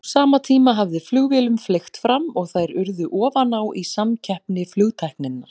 Á sama tíma hafði flugvélum fleygt fram og þær urðu ofan á í samkeppni flugtækninnar.